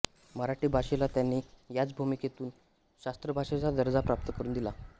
मराठी भाषेला त्यांनी याच भूमितून शास्त्रभाषेचा दर्जा प्राप्त करुन दिला